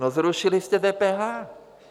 No, zrušili jste DPH.